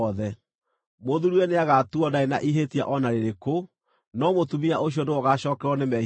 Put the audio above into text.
Mũthuuriwe nĩagatuuo ndarĩ na ihĩtia o na rĩrĩkũ, no mũtumia ũcio nĩwe ũgaacookererwo nĩ mehia make.’ ”